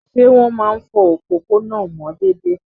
Ṣé wọ́n máa ń fọ òpópónà mọ́ déédéé?